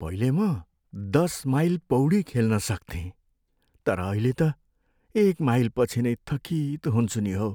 पहिले म दस माइल पौडी खेल्न सक्थेँ तर अहिले त एक माइलपछि नै थकित हुन्छु नि हौ।